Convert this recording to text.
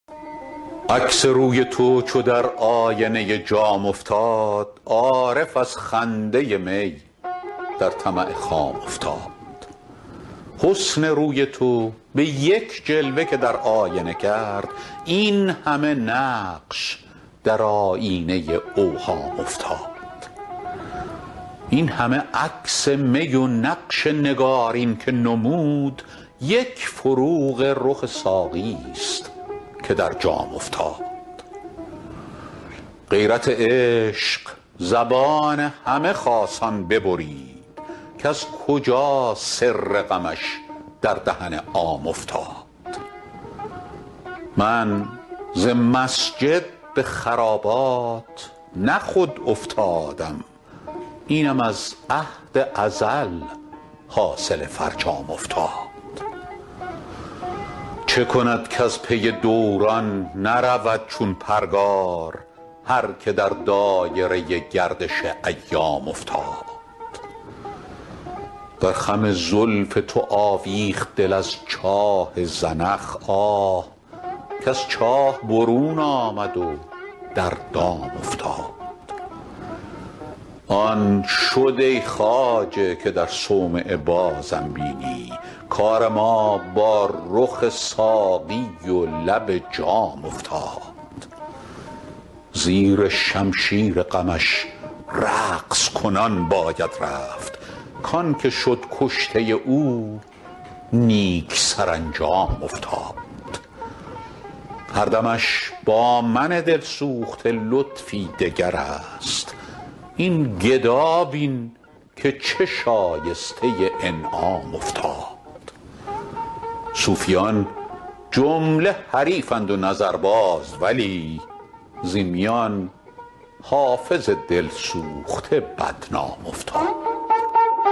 عکس روی تو چو در آینه جام افتاد عارف از خنده می در طمع خام افتاد حسن روی تو به یک جلوه که در آینه کرد این همه نقش در آیینه اوهام افتاد این همه عکس می و نقش نگارین که نمود یک فروغ رخ ساقی ست که در جام افتاد غیرت عشق زبان همه خاصان ببرید کز کجا سر غمش در دهن عام افتاد من ز مسجد به خرابات نه خود افتادم اینم از عهد ازل حاصل فرجام افتاد چه کند کز پی دوران نرود چون پرگار هر که در دایره گردش ایام افتاد در خم زلف تو آویخت دل از چاه زنخ آه کز چاه برون آمد و در دام افتاد آن شد ای خواجه که در صومعه بازم بینی کار ما با رخ ساقی و لب جام افتاد زیر شمشیر غمش رقص کنان باید رفت کـ آن که شد کشته او نیک سرانجام افتاد هر دمش با من دل سوخته لطفی دگر است این گدا بین که چه شایسته انعام افتاد صوفیان جمله حریفند و نظرباز ولی زین میان حافظ دل سوخته بدنام افتاد